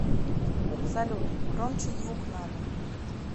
салют громче звук надо